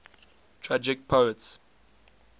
tragic poets